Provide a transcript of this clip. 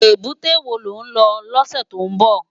Ébùté wó ló n lò lòsè tó n bò?